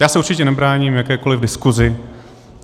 Já se určitě nebráním jakékoliv diskusi.